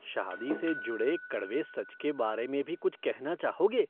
शादी से जुड़े कड़वे सच के बारे में भी कुछ कहना चाहोगे?